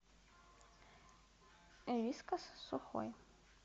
вискас сухой